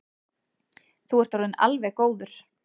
Þú ert orðinn alveg góður.